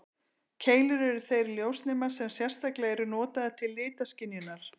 Keilur eru þeir ljósnemar sem sérstaklega eru notaðir til litaskynjunar.